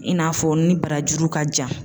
I n'a fɔ ni barajuru ka jan